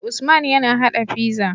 Usman yAna hada pizza